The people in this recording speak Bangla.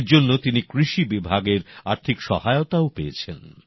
এর জন্য তিনি কৃষি বিভাগের আর্থিক সহায়তাও পেয়েছেন